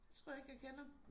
Det tror jeg ikke jeg kender